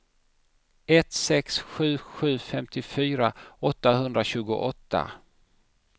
ett sex sju sju femtiofyra åttahundratjugoåtta